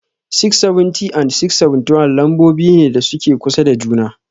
670 and 671 lambobi ne da suke kusa da juna.